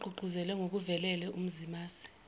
ogqugquzelwe ngokuvelele umzimasi